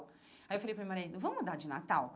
Aí eu falei para meu marido, vamos dar de Natal?